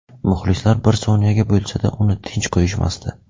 Muxlislar bir soniyaga bo‘lsa-da uni tinch qo‘yishmasdi.